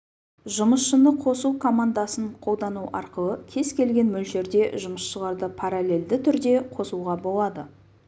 жұмысшыны қосу командасын қолдану арқылы кез келген мөлшерде жұмысшыларды параллельді түрде қосуға болады